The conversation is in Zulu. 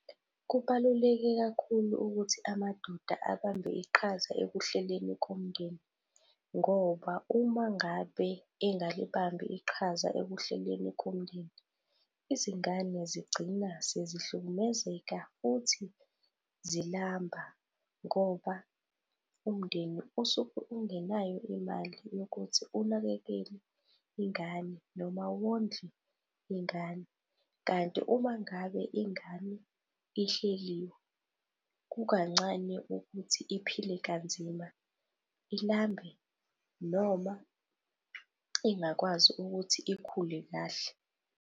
Kubaluleke kakhulu ukuthi amadoda abambe iqhaza ekuhleleni komndeni ngoba uma ngabe engalibambi iqhaza ekuhleleni komndeni, izingane zigcina sezihlukumezeka futhi zilamba ngoba umndeni usuke ungenayo imali yokuthi unakekele ingane noma wondle ingane. Kanti uma ngabe ingane ihleliwe, kukancane ukuthi iphile kanzima, ilambe noma ingakwazi ukuthi ikhule kahle.